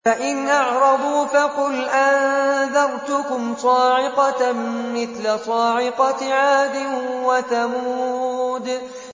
فَإِنْ أَعْرَضُوا فَقُلْ أَنذَرْتُكُمْ صَاعِقَةً مِّثْلَ صَاعِقَةِ عَادٍ وَثَمُودَ